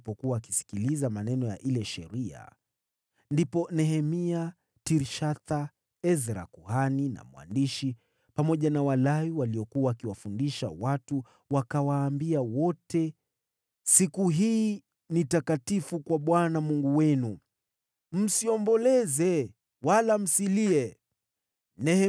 Ndipo Nehemia aliyekuwa mtawala, Ezra kuhani na mwandishi, pamoja na Walawi waliokuwa wakiwafundisha watu wakawaambia wote, “Siku hii ni takatifu kwa Bwana Mungu wenu. Msiomboleze wala msilie.” Kwa kuwa watu wote walikuwa wakilia walipokuwa wakisikiliza maneno ya ile Sheria.